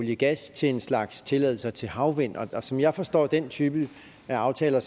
gas til en slags tilladelser til havvind og som jeg forstår den type af aftaler